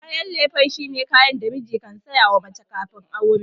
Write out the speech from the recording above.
Kayan lefe shine kayan da miji kan sayawa mace kafin aure.